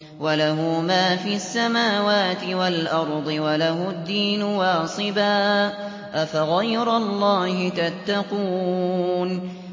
وَلَهُ مَا فِي السَّمَاوَاتِ وَالْأَرْضِ وَلَهُ الدِّينُ وَاصِبًا ۚ أَفَغَيْرَ اللَّهِ تَتَّقُونَ